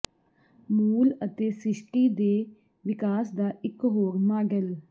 ਮੂਲ ਅਤੇ ਸ੍ਰਿਸ਼ਟੀ ਦੇ ਵਿਕਾਸ ਦਾ ਇਕ ਹੋਰ ਮਾਡਲ